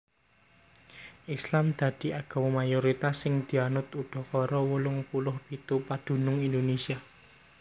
Islam dadi agama mayoritas sing dianut udakara wolung puluh pitu padunung Indonésia